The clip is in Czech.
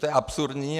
To je absurdní.